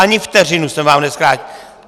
Ani vteřinu jsem vám nezkrátil!